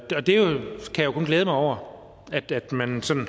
kan jo kun glæde mig over at at man